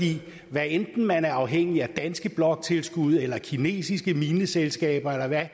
hvad enten man er afhængig af danske bloktilskud eller kinesiske mineselskaber eller hvad